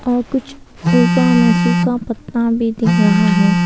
यहां कुछ ऊपा में सूखा पत्ता भी दिख रहा है।